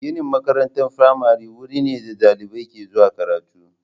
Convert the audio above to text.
Ginin makarantar firamare wuri ne da dalibai ke zuwa karatu.